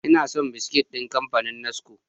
Ina son biskit ɗin kamfanin NASCO.